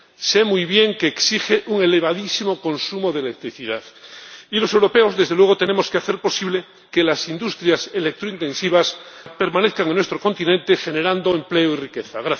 Sé muy bien que exige un elevadísimo consumo de electricidad y los europeos, desde luego, tenemos que hacer posible que las industrias electrointensivas permanezcan en nuestro continente, generando empleo y riqueza.